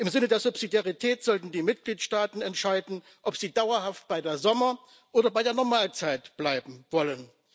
Im Sinne der Subsidiarität sollten die Mitgliedstaaten entscheiden, ob sie dauerhaft bei der Sommerzeit oder bei der Normalzeit bleiben wollen.